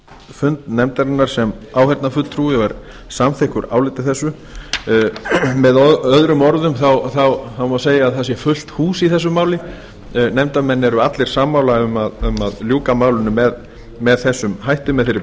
fund nefndarinnar sem áheyrnarfulltrúi og er samþykkur áliti þessu með öðrum orðum má segja að það sé fullt hús í þessu máli nefndarmenn eru allir sammála um að ljúka málinu með þessum hætti með þeirri